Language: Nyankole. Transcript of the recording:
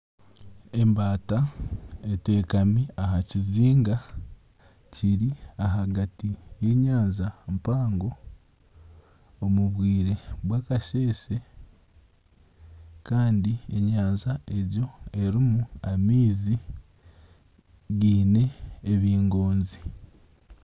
Ebmbata eteekami aha kizinga kiri ahagati y'enyanja mpango obwire bwakasheese kandi enyanja egyo erimu amaizi gaine ebingoonzi